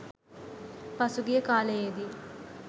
පසුගිය කාලයේදී